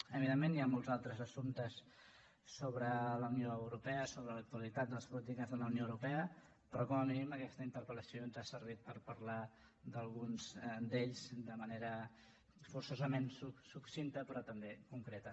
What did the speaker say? evidentment hi ha molts altres assumptes sobre la unió europea sobre l’actualitat de les polítiques de la unió europea però com a mínim aquesta interpellació ens ha servit per parlar d’alguns d’ells de manera forçosament succinta però també concreta